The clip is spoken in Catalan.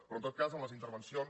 però en tot cas en les intervencions